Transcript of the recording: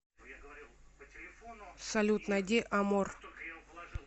салют найди амор